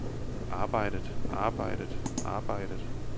arbejdet arbejdet arbejdet